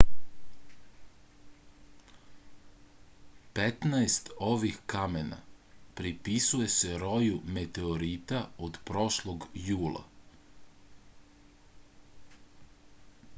petnaest ovih kamena pripisuje se roju meteorita od prošlog jula